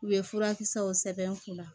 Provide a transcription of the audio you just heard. U bɛ furakisɛw sɛbɛn u la